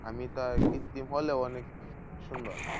আমি তো আর কৃত্তিম হলেও অনেক সুন্দর।